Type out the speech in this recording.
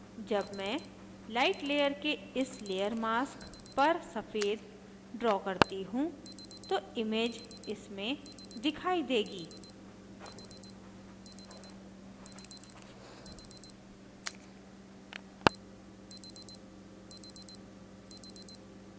जब मैं light layer के इस layer mask पर सफ़ेद draw करती हूँ तो image इसमें दिखाई देगी